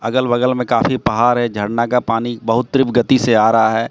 अगल बगल में काफी पहार है झरना का पानी बहुत तीव्र गति से आ रहा है।